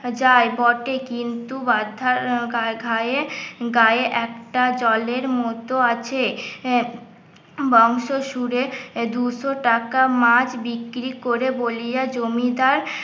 যাই বটে কিন্ত গায়ে গায়ে একটা জলের মতো আছে বংশ শুরে দুশো টাকা মাছ বিক্রি করে বলিয়া জমিদার